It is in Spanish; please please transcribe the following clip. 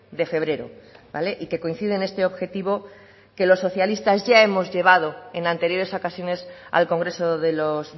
de febrero vale y que coincide en este objetivo que los socialistas ya hemos llevado en anteriores ocasiones al congreso de los